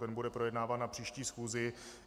Ten bude projednáván na příští schůzi.